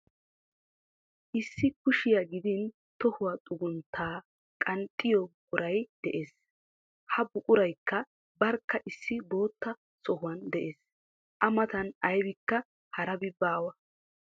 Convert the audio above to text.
Issi kushiya gidin tohuwa xugunttaa qanxxiyo buquray de'es. Ha buquraykka barkka issi bootta sohuwan de'ees. A matan aybikka harabi baawa.